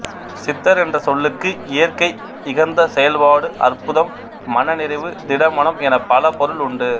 சித்தர் என்ற சொல்லுக்கு இயற்கை இகந்த செயல்பாடு அற்புதம் மனநிறைவு திடமனம் எனப் பல பொருள் உண்டு